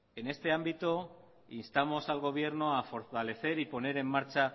en este ámbito instamos al gobierno a fortalecer y poner en marcha a